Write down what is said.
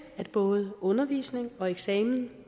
at både undervisning og eksamen